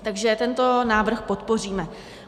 Takže tento návrh podpoříme.